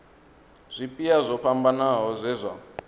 zwipia zwo fhambanaho zwe zwa